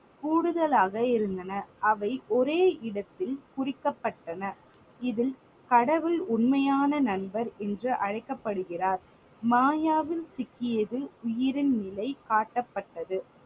கூடுதலாக இருந்தன. அவை ஒரே இடத்தில் குறிக்கப்பட்டன. இதில் கடவுள் உண்மையான நண்பன் என்று அழைக்கப்படுகிறார். மாயாவில் சிக்கியது உயிரின் நிலை காட்டப்பட்டது.